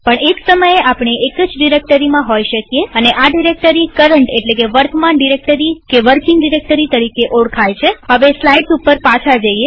પણ એક સમયે આપણે એક જ ડિરેક્ટરીમાં હોઈ શકીએ અને આ ડિરેક્ટરી કરન્ટવર્તમાન ડિરેક્ટરી કે વર્કિંગ ડિરેક્ટરી તરીકે ઓળખાય છેહવે બારીઓસ્લાઈડ પર પાછા જઈએ